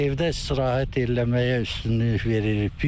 Evdə istirahət eləməyə üstünlük veririk.